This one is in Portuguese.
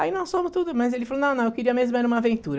Aí nós fomos tudo, mas ele falou, não, não, eu queria mesmo era uma aventura.